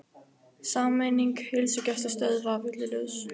Sameining heilsugæslustöðva villuljós